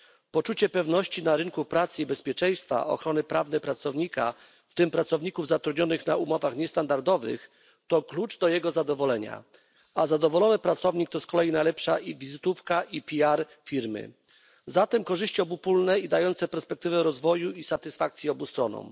Poczucie pewności na rynku pracy i bezpieczeństwa ochrony prawnej pracownika, w tym pracowników zatrudnionych na umowach niestandardowych, to klucz do jego zadowolenia, a zadowolony pracownik to z kolei najlepsza wizytówka i PR firmy, zatem korzyści obopólne i dające perspektywę rozwoju i satysfakcji obu stronom.